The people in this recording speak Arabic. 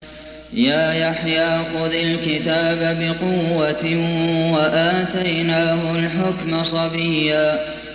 يَا يَحْيَىٰ خُذِ الْكِتَابَ بِقُوَّةٍ ۖ وَآتَيْنَاهُ الْحُكْمَ صَبِيًّا